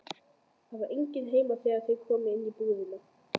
Það var enginn heima þegar þeir komu inn í íbúðina.